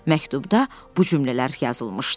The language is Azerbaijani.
Məktubda bu cümlələr yazılmışdı.